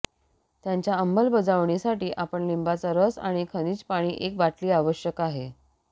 त्यांच्या अंमलबजावणीसाठी आपण लिंबाचा रस आणि खनिज पाणी एक बाटली आवश्यक आहे